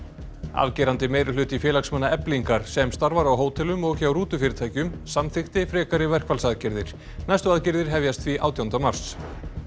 afgerandi meirihluti félagsmanna Eflingar sem starfar á hótelum og hjá samþykkti frekari verkfallsaðgerðir næstu aðgerðir hefjast því átjánda mars